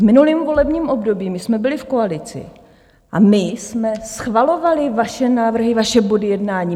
V minulém volebním období my jsme byli v koalici a my jsme schvalovali vaše návrhy, vaše body jednání.